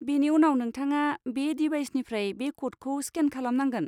बेनि उनाव नोंथाङा बे दिभाइसनिफ्राय बे क'डखौ स्केन खालामनांगोन।